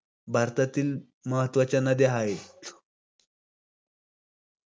भारतातील महत्वाच्या नद्या हाय.